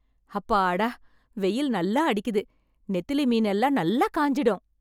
அப்பாடா ,வெயில் நல்லா அடிக்குது , நெத்திலி மீன் எல்லாம் நல்லா காஞ்சிடும்.